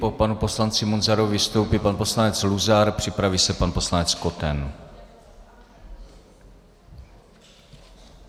Po panu poslanci Munzarovi vystoupí pan poslanec Luzar, připraví se pan poslanec Koten.